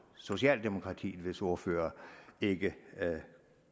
socialdemokratiet hvis ordfører ikke